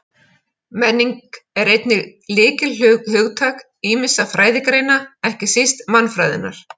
Menning er einnig lykilhugtak ýmissa fræðigreina, ekki síst mannfræðinnar.